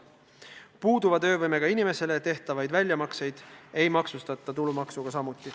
Ka puuduva töövõimega inimesele tehtavaid väljamakseid ei maksustata tulumaksuga.